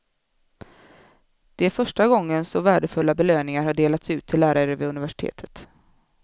Det är första gången så värdefulla belöningar har delats ut till lärare vid universitetet.